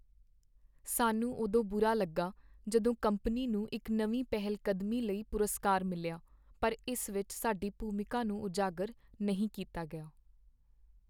ਸਾਨੂੰ ਉਦੋਂ ਬੁਰਾ ਲੱਗਾ ਜਦੋਂ ਕੰਪਨੀ ਨੂੰ ਇੱਕ ਨਵੀਂ ਪਹਿਲਕਦਮੀ ਲਈ ਪੁਰਸਕਾਰ ਮਿਲਿਆ ਪਰ ਇਸ ਵਿੱਚ ਸਾਡੀ ਭੂਮਿਕਾ ਨੂੰ ਉਜਾਗਰ ਨਹੀਂ ਕੀਤਾ ਗਿਆ।